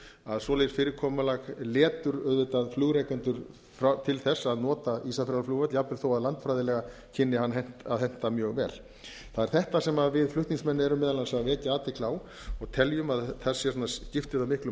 að svoleiðis fyrirkomulag letur auðvitað flugrekendur til að nota ísafjarðarflugvöll jafnvel þó að landfræðilega kynni hann að henta mjög vel það er þetta sem við flutningsmenn erum meðal annars að vekja athygli á og teljum að þess vegna skipti það miklu